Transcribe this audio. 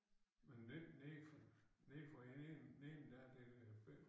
Men ned nede nede for enden neden der det øh